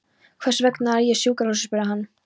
Hvers vegna er ég á sjúkrahúsi? spurði hann.